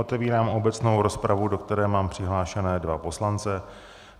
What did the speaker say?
Otevírám obecnou rozpravu, do které mám přihlášené dva poslance.